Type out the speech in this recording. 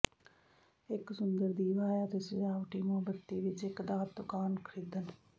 ਇੱਕ ਸੁੰਦਰ ਦੀਵਾ ਹੈ ਅਤੇ ਸਜਾਵਟੀ ਮੋਮਬੱਤੀ ਵਿੱਚ ਇੱਕ ਦਾਤ ਦੁਕਾਨ ਖਰੀਦਣ